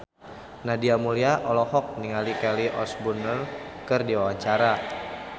Nadia Mulya olohok ningali Kelly Osbourne keur diwawancara